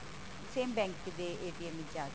same bank ਦੇ ਵਿੱਚ ਜਾਕੇ